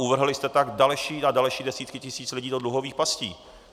Uvrhli jste tak další a další desítky tisíc lidí do dluhových pastí.